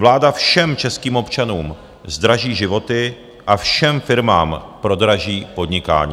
Vláda všem českým občanům zdraží životy a všem firmám prodraží podnikání.